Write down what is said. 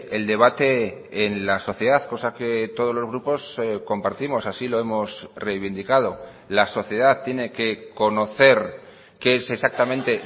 el debate en la sociedad cosa que todos los grupos compartimos así lo hemos reivindicado la sociedad tiene que conocer qué es exactamente